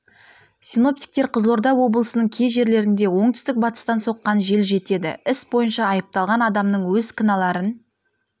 синоптиктер қызылорда облысының кей жерлерінде оңтүстік батыстан соққан жел жетеді іс бойынша айыпталған адамның өз кінәларын